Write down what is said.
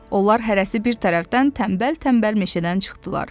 Onlar hərəsi bir tərəfdən tənbəl-tənbəl meşədən çıxdılar.